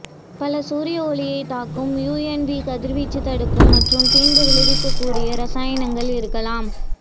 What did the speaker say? பல சூரிய ஒளியைத் தாக்கும் யுஎன்வி கதிர்வீச்சு தடுக்கும் மற்றும் தீங்கு விளைவிக்கக்கூடிய இரசாயனங்கள் இருக்கலாம்